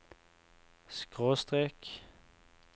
skråstrek